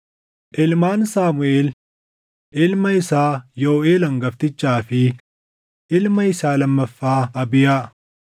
Ilmaan Saamuʼeel: Ilma isaa Yooʼeel hangaftichaa fi ilma isaa lammaffaa Abiyaa.